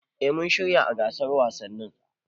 Eh mun shiryawa gasar wasanni